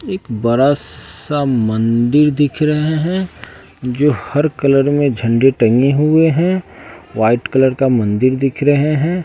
एक बड़ा सा मंदिर दिख रहे हैं जो हर कलर में झंडे टंगे हुए हैं व्हाइट कलर का मंदिर दिख रहे हैं।